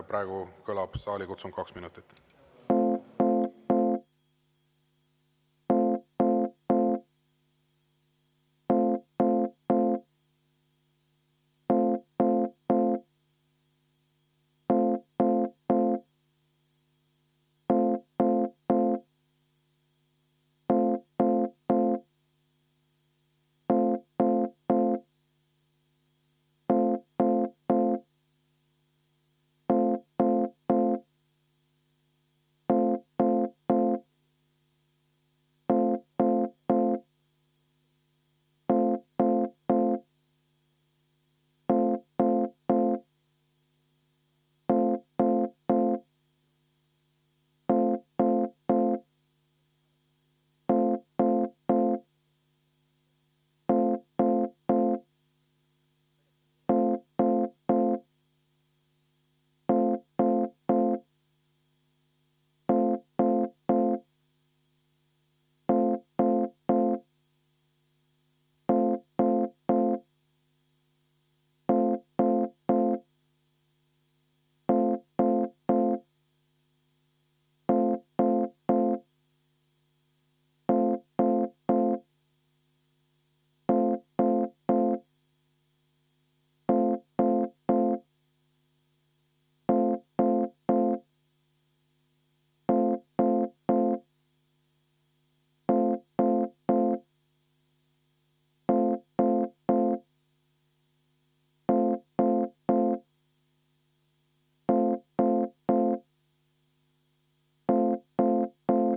Nii et kõlab saalikutsung kaks minutit.